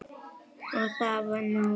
Það var nóg. og.